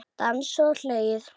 Dansað og hlegið.